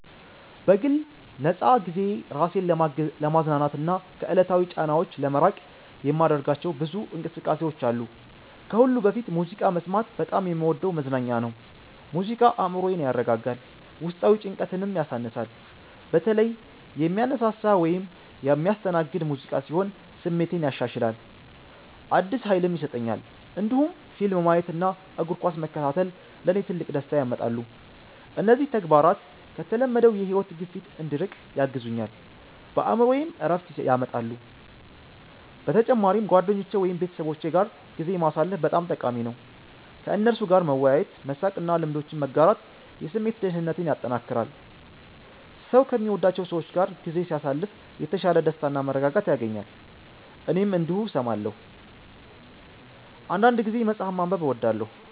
በግል ነፃ ጊዜዬ ራሴን ለማዝናናትና ከዕለታዊ ጫናዎች ለመራቅ የማደርጋቸው ብዙ እንቅስቃሴዎች አሉ። ከሁሉ በፊት ሙዚቃ መስማት በጣም የምወደው መዝናኛ ነው። ሙዚቃ አእምሮዬን ያረጋጋል፣ ውስጣዊ ጭንቀትንም ያሳንሳል። በተለይ የሚያነሳሳ ወይም የሚያስተናግድ ሙዚቃ ሲሆን ስሜቴን ያሻሽላል፣ አዲስ ኃይልም ይሰጠኛል። እንዲሁም ፊልም ማየት እና እግር ኳስ መከታተል ለእኔ ትልቅ ደስታ ያመጣሉ። እነዚህ ተግባራት ከተለመደው የሕይወት ግፊት እንድርቅ ያግዙኛል፣ በአእምሮዬም ዕረፍት ያመጣሉ። በተጨማሪም ጓደኞቼ ወይም ቤተሰቦቼ ጋር ጊዜ ማሳለፍ በጣም ጠቃሚ ነው። ከእነርሱ ጋር መወያየት፣ መሳቅ እና ልምዶችን መጋራት የስሜት ደህንነቴን ያጠናክራል። ሰው ከሚወዳቸው ሰዎች ጋር ጊዜ ሲያሳልፍ የተሻለ ደስታና መረጋጋት ያገኛል። እኔም እንዲሁ እሰማለሁ። አንዳንድ ጊዜ መጽሐፍ ማንበብ እወዳለሁ